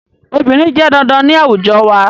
Obìnrin jẹ́ dandan ní àwùjọ wa